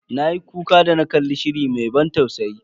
Na yi kuka da na kalli shirin mai ban tausayi.